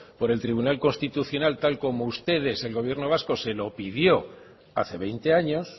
por el tribunal constitucional tal como ustedes el gobierno vasco se lo pidió hace veinte años